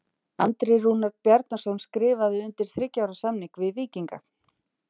Andri Rúnar Bjarnason skrifaði undir þriggja ára samning við Víkinga.